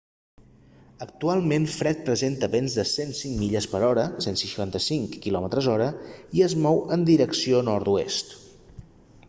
actualment fred presenta vents de 105 milles per hora 165 km/h i es mou en direcció nord-oest